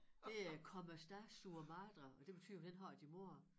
Det er come sta tua madre og det betyder hvordan har din mor det